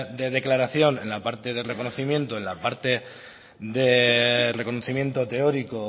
de declaración en la parte de reconocimiento en la parte de reconocimiento teórico